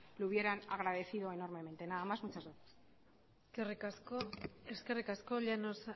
lo hubieran agradecido enormemente nada más y muchas gracias eskerrik asko llanos